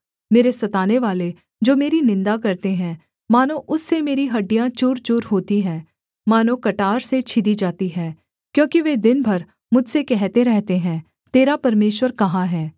मेरे सतानेवाले जो मेरी निन्दा करते हैं मानो उससे मेरी हड्डियाँ चूरचूर होती हैं मानो कटार से छिदी जाती हैं क्योंकि वे दिन भर मुझसे कहते रहते हैं तेरा परमेश्वर कहाँ है